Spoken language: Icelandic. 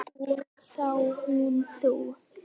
Og þá hún þú.